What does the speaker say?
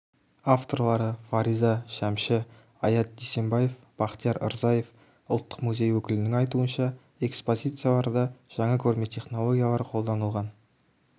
авторлары фариза шәмші аят дүйсенбаев бақтияр рзаев ұлттық музей өкілінің айтуынша экспозицияларда жаңа көрме технологиялары қолданылған